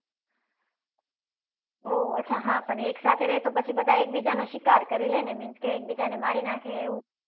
ઓહ અચ્છા હા પણ બધા એક સાથે રહે તો બધા એક બીજ્જા નો શિકાર કરી લે ને means કે એક બીજા ને મારી નાખે એવું